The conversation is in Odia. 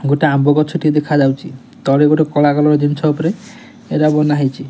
ଗୋଟେ ଆମ୍ବ ଗଛ ଟେ ଦେଖା ଯାଉଚି ତଳେ ଗୋଟେ କଳା କଲର ଜିନଷ ଉପରେ ଏରା ବନା ହେଇଚି।